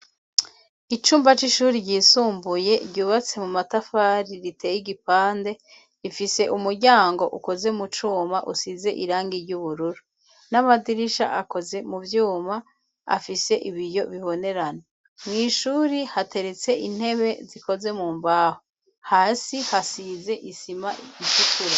Icumba c'ishuri ryisumbuye ryubatse mu matafari riteye igipande ifise umuryango ukoze mu cuma usize irangi ry'ubururu, n'amadirisha akoze mu vyuma afise ibiyo bibonerana mw'ishuri hateretse intebe zikoze mu mbaho hasi hasize isima imfukure.